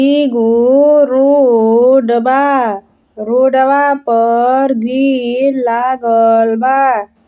एगो रोड बा। रोडवा पर भीड़ लागल बा।